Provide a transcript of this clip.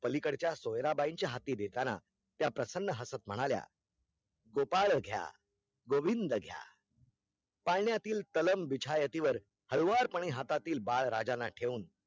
पलीकडच्या सोयराबाईच्या हाती देताना त्या प्रसन्न हसत म्हणाल्या गोपाळ घ्या गोविन्द घ्या पाळण्यातील तलम बिछायातीवर हळूवारपने हातातील बाळ राजाना ठेवून